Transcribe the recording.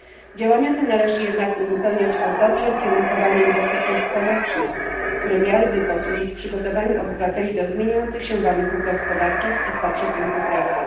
Działania te należy jednak uzupełniać o dobrze ukierunkowane inwestycje społeczne, które miałyby posłużyć przygotowaniu obywateli do zmieniających się warunków gospodarczych i potrzeb rynku pracy.